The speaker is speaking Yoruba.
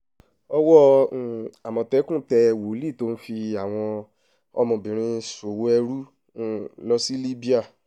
owó um àmọ̀tẹ́kùn tẹ wòlíì tó ń fi àwọn ọmọbìnrin ṣòwò ẹrú um lọ sí libya